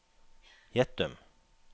Gjettum